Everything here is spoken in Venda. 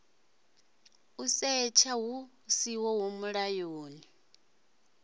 u setsha hu siho mulayoni